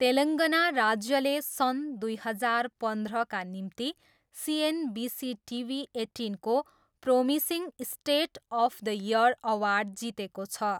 तेलङ्गाना राज्यले सन् दुई हजार पन्ध्रका निम्ति सिएनबिसी टिभी एट्टिनको promising state of the year award जितेको छ।